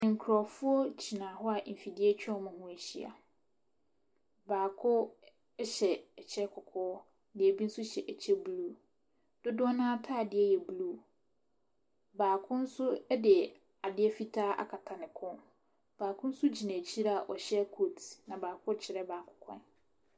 Nkurɔfoɔ gyina hɔ a mfidie atwa wɔn ho ahyia. Baako hyɛ ɛkyɛ kɔkɔɔ, na ɛbi nso hyɛ ɛkyɛ blue. Dodoɔ no ara atadeɛ yɛ blue. Baako nso de adeɛ fitaa akata ne kɔn. Baako nso gyina akyire a ɔhyɛ coat, na baako rekyerɛ baako kwan.